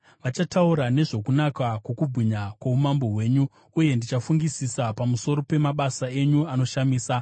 Vachataura nezvokunaka kwokubwinya kwoumambo hwenyu, uye ndichafungisisa pamusoro pemabasa enyu anoshamisa.